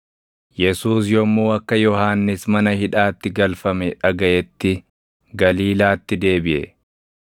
Yesuus yommuu akka Yohannis mana hidhaatti galfame dhagaʼetti Galiilaatti deebiʼe.